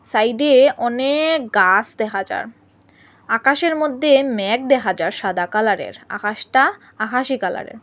সাইডে অনেক গাস দেখা যার আকাশের মধ্যে মেঘ দেখা যার সাদা কালারের আকাশটা আকাশি কালারের।